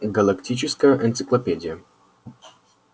галактическая энциклопедия